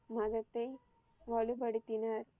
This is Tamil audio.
மதத்தை வலுபடுத்தினர்.